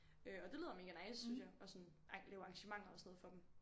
Øh og det lyder mega nice synes jeg og sådan lave arrangementer og sådan noget for dem